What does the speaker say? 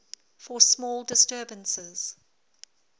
for small disturbances